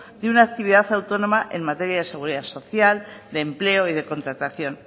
de una actividad autónoma en materia de seguridad social de empleo y de contratación